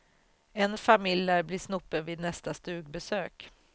En familj lär bli snopen vid nästa stugbesök.